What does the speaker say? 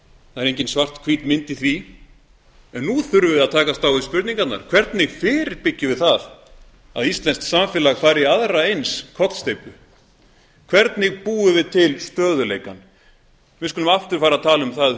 það er engin svarthvít mynd í því en nú þurfum við að takast á við spurningarnar hvernig fyrirbyggjum við það að íslenskt samfélag fari í aðra eins kollsteypu hvernig búum við til stöðugleikann við skulum aftur fara að tala um það